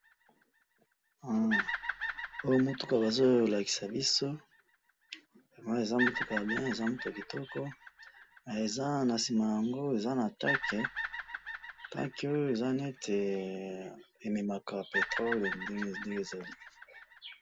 Hum! Ooo mutuka bazo lakisa biso, namoni eza mutuka ya bien, eza mutuka yakitoko, eza nasima naango eza na tank, tank oyo ezaneti ememaka petrol ndenge ezali.